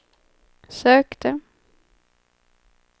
sökte